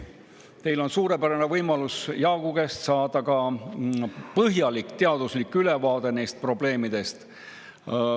Teil on suurepärane võimalus saada Jaagu käest põhjalik teaduslik ülevaade neist probleemidest.